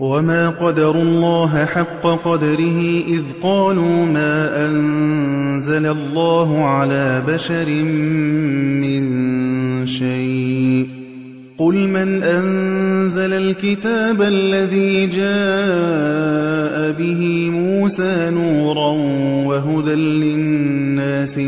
وَمَا قَدَرُوا اللَّهَ حَقَّ قَدْرِهِ إِذْ قَالُوا مَا أَنزَلَ اللَّهُ عَلَىٰ بَشَرٍ مِّن شَيْءٍ ۗ قُلْ مَنْ أَنزَلَ الْكِتَابَ الَّذِي جَاءَ بِهِ مُوسَىٰ نُورًا وَهُدًى لِّلنَّاسِ ۖ